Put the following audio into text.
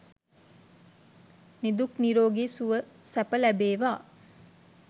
නිදුක් නිරෝගී සුව සැප ලැබේවා.